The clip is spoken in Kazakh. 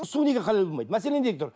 су неге халал болмайды мәселе неде тұр